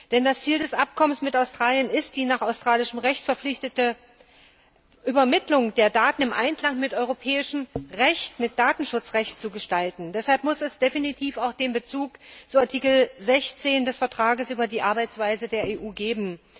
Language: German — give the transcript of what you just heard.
Denn das Ziel des Abkommens mit Australien ist, die nach australischem Recht vorgeschriebene Übermittlung der Daten in Einklang mit europäischem Recht, mit dem Datenschutzrecht, zu bringen. Deshalb muss es definitiv auch den Bezug zu Artikel 16 des Vertrags über die Arbeitsweise der EU geben.